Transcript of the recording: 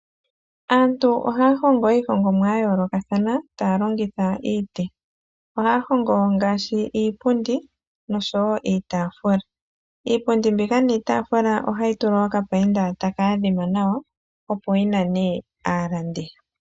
Aantu ohaya hongo iihongomwa ya yoolokathana taya longitha iiti. Ohaya hongo ngaashi iipundi nosho wo iitaafula. Iipundi mbika niitaafula ohayi tulwa okapainda taka adhima nawa opo yi nane aalandi.